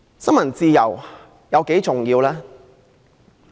新聞自由有多重要？